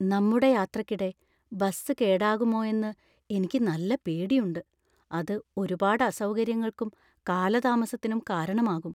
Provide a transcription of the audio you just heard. നമ്മുടെ യാത്രയ്ക്കിടെ ബസ് കേടാകുമോയെന്ന് എനിക്ക് നല്ല പേടിയുണ്ട് ; അത് ഒരുപാട് അസൗകര്യങ്ങൾക്കും കാലതാമസത്തിനും കാരണമാകും.